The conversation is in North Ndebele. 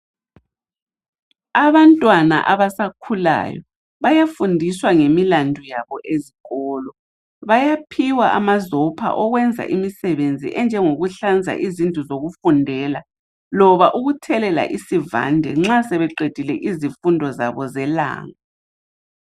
abantwana abasakhulayo bayafundiswa ngemilando abo ezikolo bayaphiwa amazopha okwenza imisebenzi enjengokuhlanza izindlu zokufundela loba ukuthelela isivande nxa sebeqedile izifundo zabo zelanga